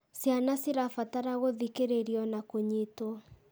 Ciana cirabatara gũthikĩrĩrio na kũnyitwo.